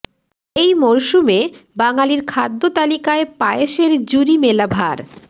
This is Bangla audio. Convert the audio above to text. এই মরশুমে বাঙালির খাদ্য তালিকায় পায়েসের জুরি মেলা ভার